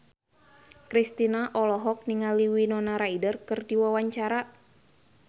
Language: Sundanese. Kristina olohok ningali Winona Ryder keur diwawancara